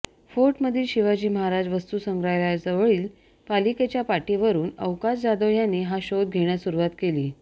फोर्टमधील शिवाजी महाराज वस्तुसंग्रहालयाजवळील पालिकेच्या पाटीवरून अवकाश जाधव यांनी हा शोध घेण्यास सुरुवात केली